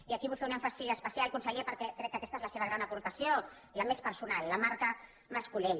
i aquí hi vull fer un èmfasi especial conseller perquè crec que aquesta és la seva gran aportació la més personal la marca mascolell